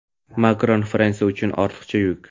Makron – Fransiya uchun ortiqcha yuk.